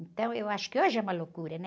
Então, eu acho que hoje é uma loucura, né?